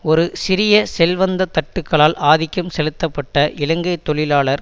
ஒரு சிறிய செல்வந்த தட்டுக்களால் ஆதிக்கம் செலுத்தப்பட்ட இலங்கை தொழிலாளர்